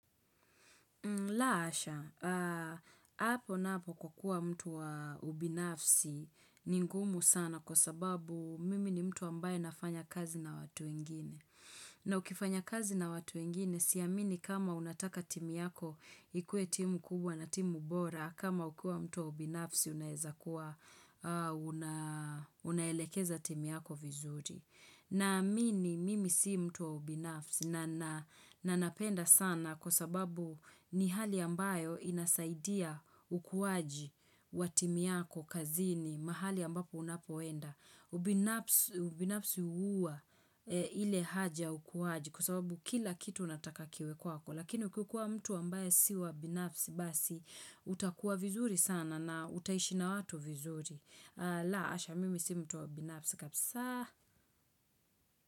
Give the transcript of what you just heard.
La hasha, hapo napo kukua mtu wa ubinafsi ni ngumu sana kwa sababu mimi ni mtu ambaye nafanya kazi na watu wengine. Na ukifanya kazi na watu wengine, siamini kama unataka timu yako ikue timu kubwa na timu bora, kama ukiwa mtu wa ubinafsi unaezakuwa, unaelekeza timu yako vizuri. Naamini mimi si mtu wa ubinafsi na na napenda sana kwa sababu ni hali ambayo inasaidia ukuwaji wa timu yako kazini mahali ambapo unapoenda. Ubinafsi huwa ile haja ukuwaji kwa sababu kila kitu unataka kiwe kwako lakini ukikua mtu ambaye si wa binafsi basi utakuwa vizuri sana na utaishi na watu vizuri. La hasha mimi si mtu wa ubinafsi.